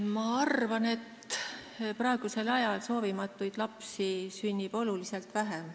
Ma arvan, et praegusel ajal sünnib soovimatuid lapsi oluliselt vähem.